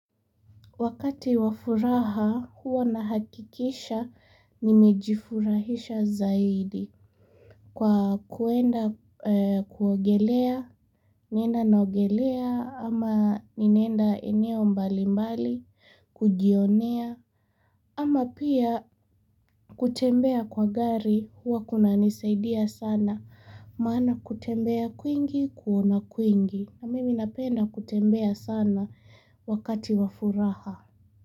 Wakati wafuraha huwa nahakikisha nimejifurahisha zaidi kwa kuenda kuogelea nina naogelea ama ninaenda eneo mbali mbali kujionea ama pia kutembea kwa gari huwa kunanisaidia sana maana kutembea kwingi kuona kwengi na mimi napenda kutembea sana wakati wafuraha.